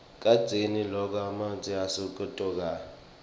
kadzeni lokwa ematje asabokotela